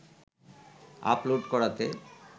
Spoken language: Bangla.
আপলোড করাতে